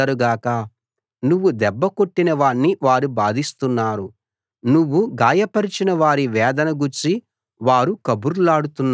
నువ్వు దెబ్బ కొట్టిన వాణ్ణి వారు బాధిస్తున్నారు నువ్వు గాయపరచిన వారి వేదన గూర్చి వారు కబుర్లాడుతున్నారు